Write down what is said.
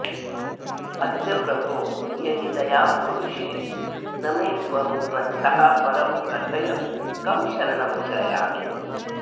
अद्य प्रभो यदि दयां कुरुषे न मे त्वं त्वत्तः परं कथय कं शरणं श्रयामि